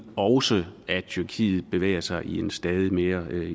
også at tyrkiet bevæger sig i en stadig mere